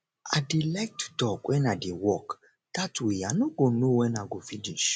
i dey like to talk wen i dey work dat way i no go know wen i go finish